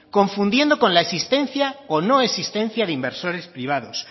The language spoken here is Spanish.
confundiendo con la existencia o no existencia de inversores privados